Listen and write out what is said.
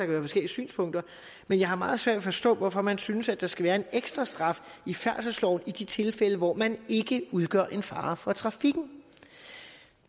være forskellige synspunkter men jeg har meget svært ved at forstå hvorfor man synes at der skal være en ekstra straf i færdselsloven i de tilfælde hvor man ikke udgør en fare for trafikken